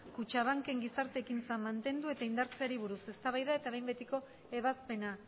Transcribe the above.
kutxabanken gizarteekintza mantendu eta indartzeari buruz eztabaida eta behin betiko ebazpena